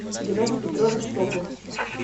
геннадий петрович сокур